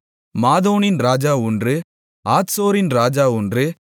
மாதோனின் ராஜா ஒன்று ஆத்சோரின் ராஜா ஒன்று